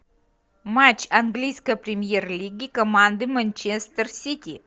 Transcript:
матч английской премьер лиги команды манчестер сити